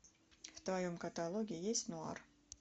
в твоем каталоге есть нуар